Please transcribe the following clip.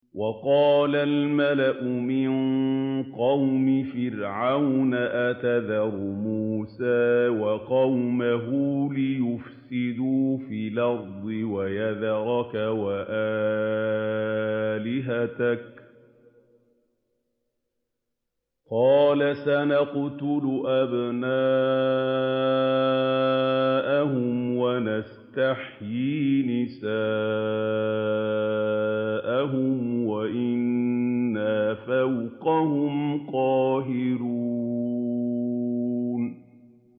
وَقَالَ الْمَلَأُ مِن قَوْمِ فِرْعَوْنَ أَتَذَرُ مُوسَىٰ وَقَوْمَهُ لِيُفْسِدُوا فِي الْأَرْضِ وَيَذَرَكَ وَآلِهَتَكَ ۚ قَالَ سَنُقَتِّلُ أَبْنَاءَهُمْ وَنَسْتَحْيِي نِسَاءَهُمْ وَإِنَّا فَوْقَهُمْ قَاهِرُونَ